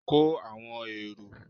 ko awọn eró!